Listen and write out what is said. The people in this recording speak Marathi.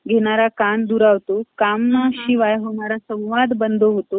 घेणारा कान दुरावतो . कामाशिवाय होणारा संवाद दुरावतो .